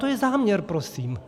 To je záměr prosím.